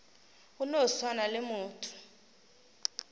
go no swana le motho